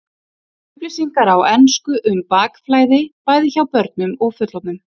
Upplýsingar á ensku um bakflæði, bæði hjá börnum og fullorðnum.